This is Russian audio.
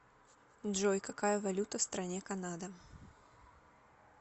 джой какая валюта в стране канада